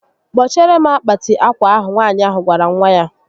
Kpochiere m akpati akwa ahụ Nwaànyị ahụ gwara nwa ya